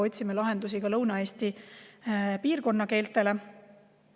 Otsime lahendusi ka Lõuna-Eesti piirkonna keeltele.